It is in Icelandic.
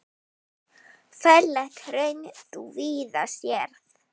Ferlegt hraun þú víða sérð.